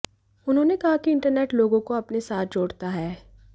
उन्होंने कहा कि इंटरनेट लोगों को अपने साथ जोड़ता है